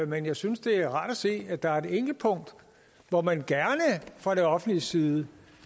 men jeg synes det er rart at se at der er et enkelt punkt hvor man gerne fra det offentliges side